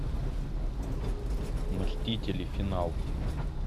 мстители финал